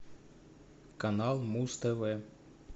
канал муз тв